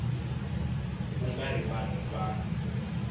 ku nga ri vanhu van